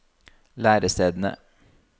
lærestedene